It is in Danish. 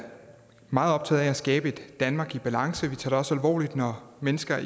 meget optaget af at skabe et danmark i balance vi tager det også alvorligt når mennesker